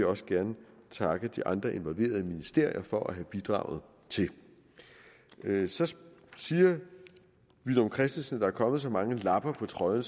også gerne takke de andre involverede ministerier for at have bidraget til så siger herre villum christensen er kommet så mange lapper på trøjen